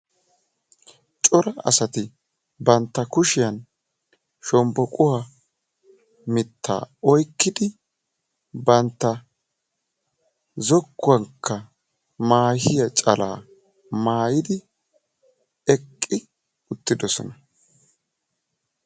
cora asati bantta kushiyan shombboquwa mittaa oyikkidi bantta zokkuwankka maahiya calaa maayidi eqqi uttidosona.